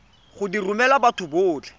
go di romela batho botlhe